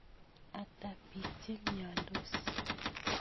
Ata piik che miandos?